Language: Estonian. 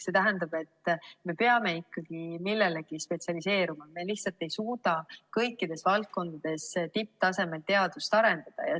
See tähendab, et me peame ikkagi millelegi spetsialiseeruma, me lihtsalt ei suuda kõikides valdkondades tipptasemel teadust arendada.